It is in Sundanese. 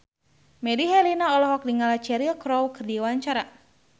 Melly Herlina olohok ningali Cheryl Crow keur diwawancara